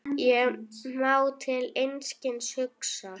Ég má til einskis hugsa.